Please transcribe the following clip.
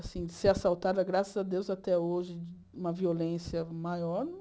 Assim, de ser assaltada, graças a Deus, até hoje, uma violência maior.